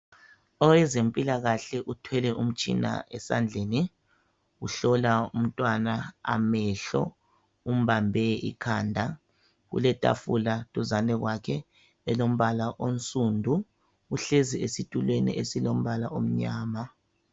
Owezempilakahle uthwele umtshina esandleni uhlola umtwana amehlo umbambe ikhanda uletafula duzane kwakhe elombala onsundu uhlezi esitulweni esilombala omyama